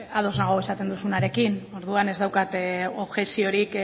ados nago esaten duzunarekin orduan ez daukat objekziorik